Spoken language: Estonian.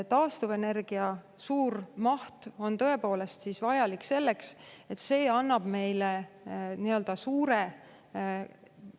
Taastuvenergia suur maht on vajalik selleks, et see annab meile suure.